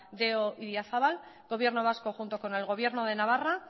de la quinientoso idiazabal gobierno vasco junto con el gobierno de navarra